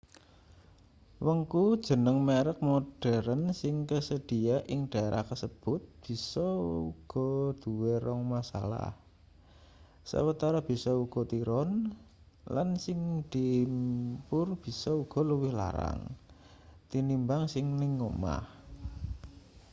wengku jeneng merek modheren sing kasedhiya ing dhaerah kasebut bisa uga duwe rong masalah sawetara bisa uga tiron lan sing diimpur bisa uga luwih larang tinimbang sing ning omah